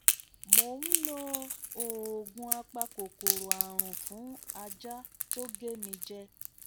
mo n lo oògùn apakòkòrò àrùn fún ajá to ge mi je